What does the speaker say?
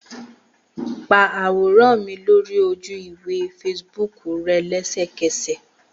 Pa aworan mi lori oju-iwe Facebook rẹ lẹsẹkẹsẹ!